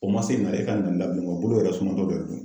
O man se bolo yɛrɛ sumatɔ dɔ de do.